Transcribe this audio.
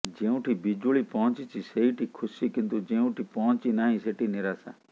ଯେଉଁଠି ବିଜୁଳି ପହଞ୍ଚିଛି ସେଇଠି ଖୁସି କିନ୍ତୁ ଯେଉଁଠି ପହଞ୍ଚି ନାହିଁ ସେଠି ନିରାଶା